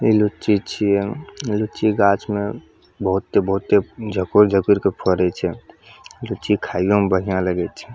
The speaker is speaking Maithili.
इ लीची छीये लीची गाछ में बहुते बहुते जकड़-जकड़ के फरे छै लीची खाइयों में बढ़िया लगे छै।